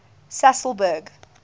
sasolburg